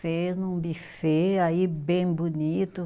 Fez num buffet aí bem bonito.